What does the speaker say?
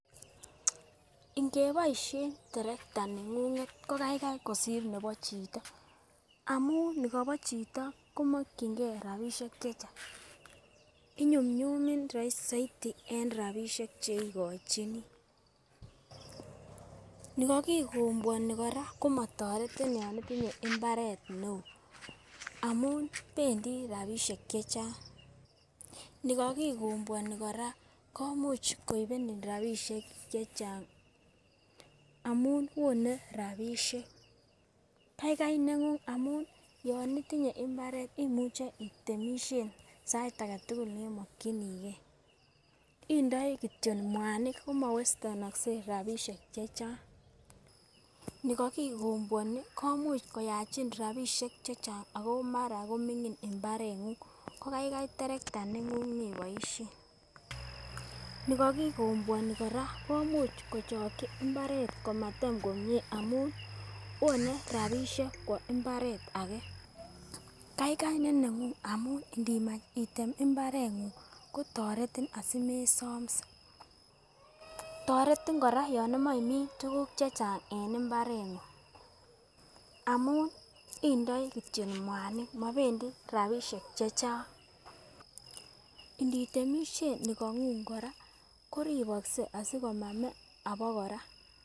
Igeboishen terekta nengunget ko kaikai kosir nebo chito amun nikobo chito komokingee rabishek chechang inyumnyumin soiti en rabishek cheikochinii niko kikobwoni koraa ko motoretin yon itinye imbaret neo amunpendii rabishek chechang. Nikokikobwonii koraa komuch koibenin rabishek chechang amun wone rabishek kaigai nengung amun ton itinye imbaret imuche itemishen sait agetukul nemokinigee, indoi kityok muanik komowestenokse rabishek chechang. Nikokikobwoni komuch koyachin rabishek chechang ako mara komingin imbarengunyko kaikai terekta nenguny, nikokikobwoni koraa komuch kochoki imbaret komatem komie amun wone rabishenk kwo imbaret age kaigai nenengung amun inimach item imbarengung kotoretin asimesomse. Toretin koraa yon imoche imin tukuk chechang en imbarengung amun insoi kityok muanik mobendii rabishek chechang, initemishen nikongung koraa koribokse asikomame abakora.